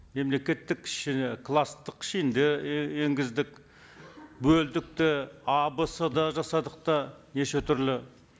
мемлекеттік класстық енгіздік бөлдік те а в с да жасадық та неше түрлі